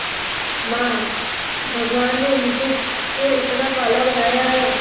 मां भगवान ने मुझे क्यों इतना काला बनाया है